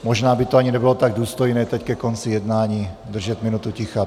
Možná by to ani nebylo tak důstojné teď ke konci jednání, držet minutu ticha.